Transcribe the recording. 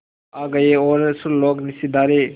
आ गए और सुरलोक सिधारे